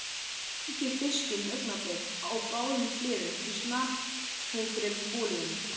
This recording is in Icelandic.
Steikið fiskinn augnablik á báðum hliðum í snarpheitri olíunni.